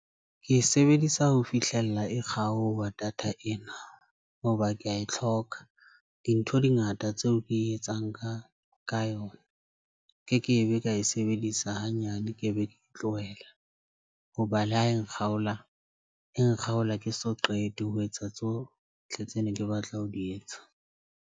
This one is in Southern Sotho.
Ke e sebedisa ho fihlella e kgaoha data ena hoba ke a e tlhoka dintho di ngata tseo ke etsang ka yona. Kekebe ka e sebedisa hanyane, ke be ke tlowela hoba le ha e nkgaola e nkgaola, ke so qete ho etsa tsohle tse ne ke batla ho di etsa.